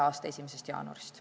a 1. jaanuarist.